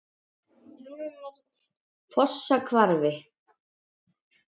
Fossahvarfi